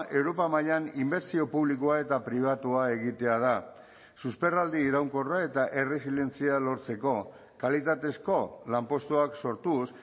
europa mailan inbertsio publikoa eta pribatua egitea da susperraldi iraunkorra eta erresilientzia lortzeko kalitatezko lanpostuak sortuz